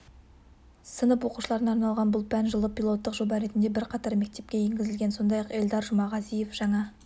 сынып оқушыларына арналған бұл пән жылы пилоттық жоба ретінде бірқатар мектепке енгізілген сондай-ақ эльдар жұмағазиев жаңа